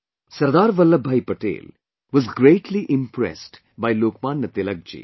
Sardar Vallabh Bhai Patel was greatly impressed by Lok Manya Tilakji